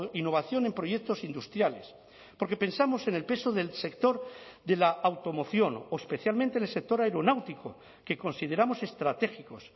innovación en proyectos industriales porque pensamos en el peso del sector de la automoción o especialmente en el sector aeronáutico que consideramos estratégicos